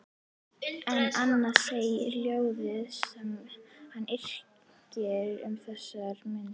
En annað segja ljóðin sem hann yrkir um þessar mundir